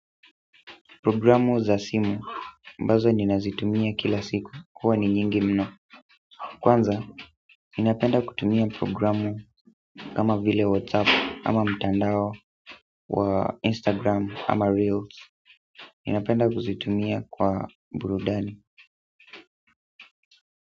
Programu za simu, ambazo nina zitumia kila siku, huwa ni nyingi mno kwanza ninapenda kutumia programu kama vile whatsapp ama mtandao wa Instagram ama reels nina penda kuzitumia kwa burudani.